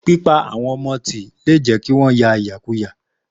Pípa àwọn ọmọ ti le jẹ́ kí wọ́n ya ìyàkuyà.